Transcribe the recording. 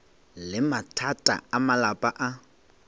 le mathata a malapa a